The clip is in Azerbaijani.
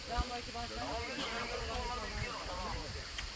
Qaşqay bu tərəfə baxırsan sən?